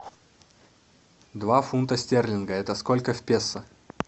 два фунта стерлинга это сколько в песо